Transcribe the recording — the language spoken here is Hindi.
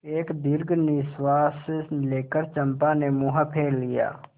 एक दीर्घ निश्वास लेकर चंपा ने मुँह फेर लिया